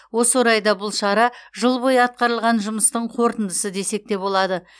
осы орайда бұл шара жыл бойы атқарылған жұмыстың қорытындысы десек те болады